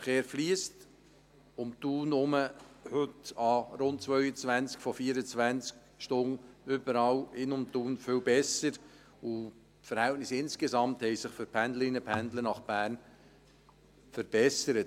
Der Verkehr in und um Thun herum fliesst heute während rund 22 von 24 Stunden überall viel besser, und die Verhältnisse insgesamt haben sich für die Pendlerinnen und Pendler nach Bern verbessert.